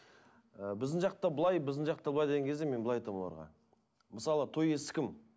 ы біздің жақта былай біздің жақта былай деген кезде мен былай айтамын оларға мысалы той иесі кім